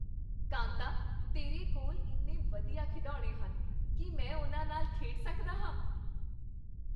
ਕਾਂਤਾ, ਤੇਰੇ ਕੋਲ ਇੰਨੇ ਵਧੀਆ ਖਿਡੌਣੇ ਹਨ। ਕੀ ਮੈਂ ਉਨ੍ਹਾਂ ਨਾਲ ਖੇਡ ਸਕਦਾ ਹਾਂ?